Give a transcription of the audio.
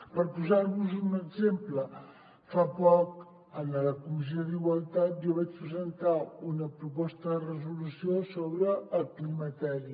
per posar vos un exemple fa poc en la comissió d’igualtat jo vaig presentar una proposta de resolució sobre el climateri